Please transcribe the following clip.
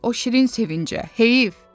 O şirin sevincə heyif.